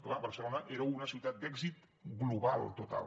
clar barcelona era una ciutat d’èxit global total